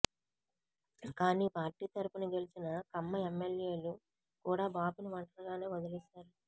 కానీ పార్టీ తరుపున గెలిచిన కమ్మ ఎమ్మెల్యేలు కూడా బాబుని ఒంటరిగానే వదిలేశారు